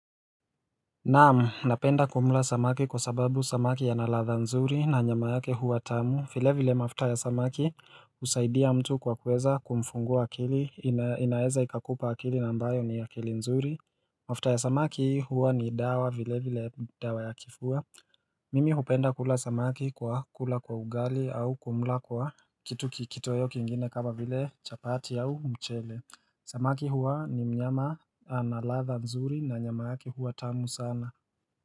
Naam, napenda kumla samaki kwa sababu samaki yanaladha nzuri na nyama yake huwa tamu, vile vile mafuta ya samaki husaidia mtu kwa kuweza kumfungua akili, inaeza ikakupa akili na ambayo ni akili nzuri mafuta ya samaki huwa ni dawa vile vile dawa ya kifua Mimi hupenda kula samaki kwa kula kwa ugali au kumla kwa kitu kitoweo kingine kama vile chapati au mchele Samaki huwa ni mnyama analadha mzuri na nyama yake huwa tamu sana.